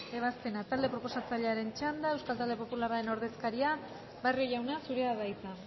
ebazpena talde proposatzailearen txanda euskal talde popularraren ordezkaria barrio jauna zurea da hitza